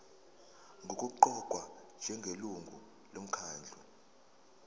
nokuqokwa njengelungu lomkhandlu